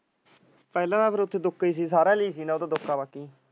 ਪਹਲੇ ਤਾਂ ਓਥੇ ਦੁੱਕਾ ਹੀ ਸੀ ਸਾਰਿਆਂ ਲਈ ਦੁੱਕਾ ਬਾਕੀ।